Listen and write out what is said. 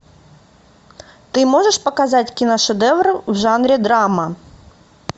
ты можешь показать киношедевр в жанре драма